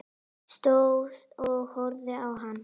Stóð og horfði á hana.